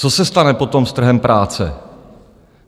Co se stane potom s trhem práce?